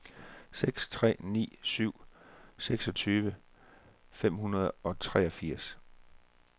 seks tre ni syv seksogtyve fem hundrede og treogfirs